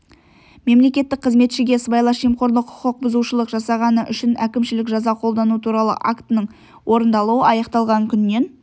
мемлекеттік қызметшіге сыбайлас жемқорлық құқық бұзушылық жасағаны үшін әкімшілік жаза қолдану туралы актінің орындалуы аяқталған күннен